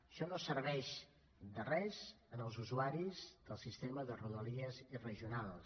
això no serveix de res als usuaris del sistema de rodalies i regionals